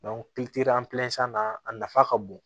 na a nafa ka bon